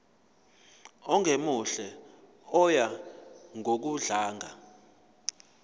ongemuhle oya ngokudlanga